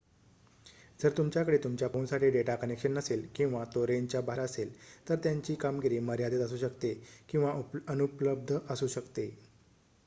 जर तुमच्याकडे तुमच्या फोनसाठी डेटा कनेक्शन नसेल किंवा तो रेंजच्या बाहेर असेल तर त्यांची कामगिरी मर्यादित असू शकते किंवा अनुपलब्ध असू शकते